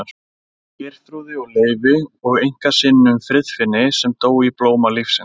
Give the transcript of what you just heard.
Geirþrúði og Leifi og einkasyninum Friðfinni sem dó í blóma lífsins.